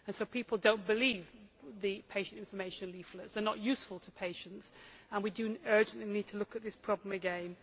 So people do not believe the patient information leaflets, they are not useful to patients, and we do urgently need to look at this problem again.